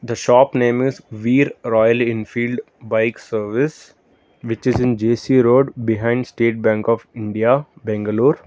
the shop name is veer royal enfield bike service which is in J_C road behind state bank of india bangalore.